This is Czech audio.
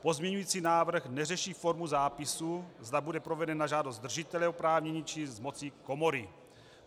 Pozměňující návrh neřeší formu zápisu, zda bude proveden na žádost držitele oprávnění, či z moci komory.